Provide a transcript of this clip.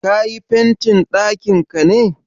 Ka yi fentin ɗakinka ne?